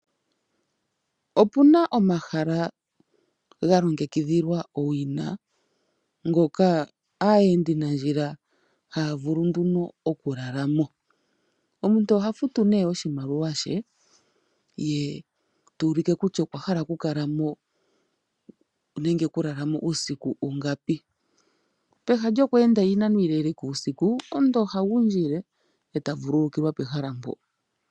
Opu na omahala ga longekidhilwa owina, ngoka aayendanandjila haya vulu nduno okulala mo. Omuntu oha futu nduno oshimaliwa she ye ta ulike kutya okwa hala okukala mo nenge okulala mo uusiku ungapi. Pehala lyoku enda iinano iile uusiku omuntu oha gundjile e ta vululukilwa pehala mpoka.